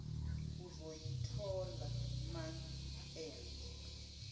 uzoyithola month end